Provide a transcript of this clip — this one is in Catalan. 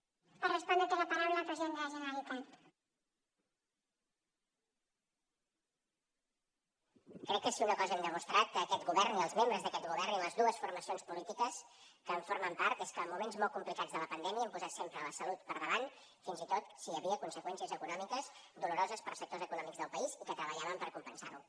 crec que si una cosa hem demostrat aquest govern i els membres d’aquest govern i les dues formacions polítiques que en formen part és que en moments molt complicats de la pandèmia hem posat sempre la salut per davant fins i tot si hi havia conseqüències econòmiques doloroses per a sectors econòmics del país i que treballàvem per compensar ho